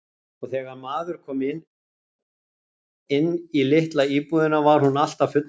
Og þegar maður kom inn í litla íbúðina var hún alltaf full af krökkum.